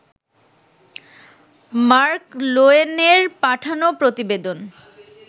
mark লোয়েনের পাঠানো প্রতিবেদন